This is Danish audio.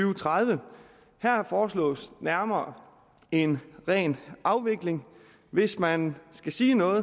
og tredive her foreslås nærmere en ren afvikling hvis man skal sige noget